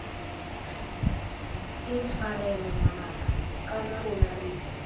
intshwarela ngwanaka kana rona re